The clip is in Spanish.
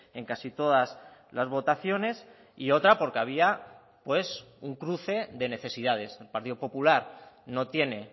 en casi todas las votaciones y otra porque había pues un cruce de necesidades el partido popular no tiene